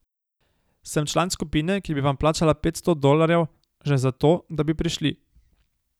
Sem član skupine, ki bi vam plačala petsto dolarjev že za to, da bi prišli.